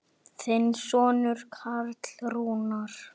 Þinn sonur Karl Rúnar.